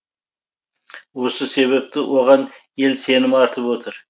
осы себепті оған ел сенім артып отыр